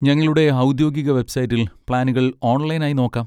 ഞങ്ങളുടെ ഔദ്യോഗിക വെബ്സൈറ്റിൽ പ്ലാനുകൾ ഓൺലൈൻ ആയി നോക്കാം.